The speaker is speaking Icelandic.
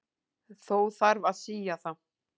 Þó þarf að sía það.